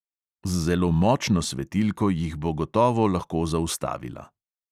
Z zelo močno svetilko jih bo gotovo lahko zaustavila …